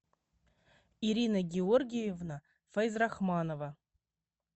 ирина георгиевна файзрахманова